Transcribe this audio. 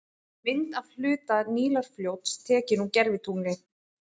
Mynd af hluta Nílarfljóts, tekin úr gervitungli.